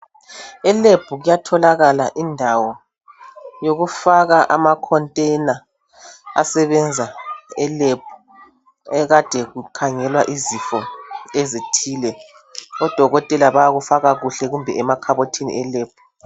Elab kuyatholakala indawo yokufaka ama container asebenza elab ekade kukhangelwa izifo ezithile odokotela bayakufaka kuhle kumbe emakhobothini elab